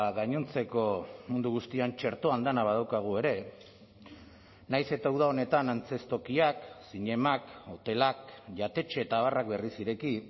gainontzeko mundu guztian txertoan dena badaukagu ere nahiz eta uda honetan antzeztokiak zinemak hotelak jatetxe eta abarrak berriz ireki